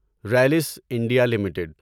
Rallis India limited